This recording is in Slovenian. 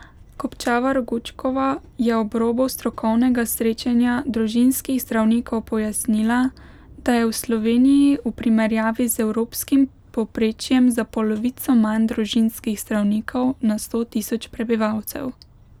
Kopčavar Gučkova je ob robu strokovnega srečanja družinskih zdravnikov pojasnila, da je v Sloveniji v primerjavi z evropskim povprečjem za polovico manj družinskih zdravnikov na sto tisoč prebivalcev.